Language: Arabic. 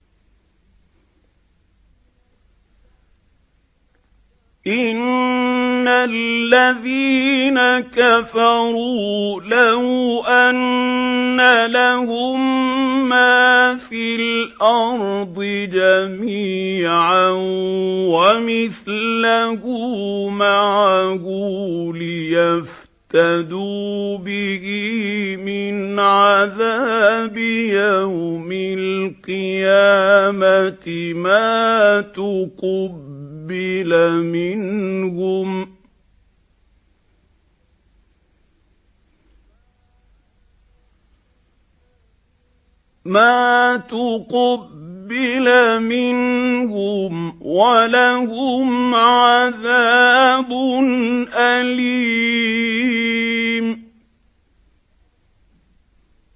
إِنَّ الَّذِينَ كَفَرُوا لَوْ أَنَّ لَهُم مَّا فِي الْأَرْضِ جَمِيعًا وَمِثْلَهُ مَعَهُ لِيَفْتَدُوا بِهِ مِنْ عَذَابِ يَوْمِ الْقِيَامَةِ مَا تُقُبِّلَ مِنْهُمْ ۖ وَلَهُمْ عَذَابٌ أَلِيمٌ